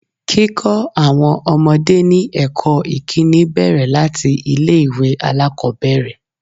Kíkọ́ àwọn ọmọdé ní ẹ̀kọ́ ìkíni bẹ̀rẹ̀ láti ilé ìwé alákòbẹ̀rẹ̀.